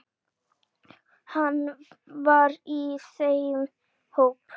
Hann var í þeim hópi.